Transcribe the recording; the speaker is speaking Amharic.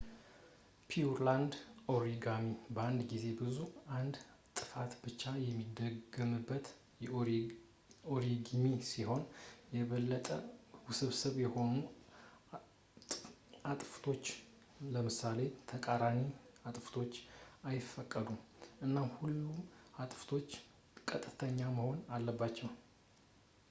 ፒውርላንድ ኦሪጋሚ በአንድ ጊዜ ብቻ አንድ እጥፋት ብቻ የሚደረግበት ኦሪጋሚ ሲሆን፣ የበለጠ ውስብስብ የሆኑ እጥፋቶች ለምሳሌ ተቃራኒ አጥፋቶች አይፈቀዱም፣ እና ሁሉም እጥፋቶች ቀጥተኛ መሆን አለባቸው